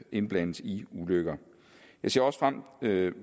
indblandes i ulykker jeg ser i øvrigt